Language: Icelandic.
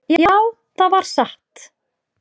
"""Já, það var satt."""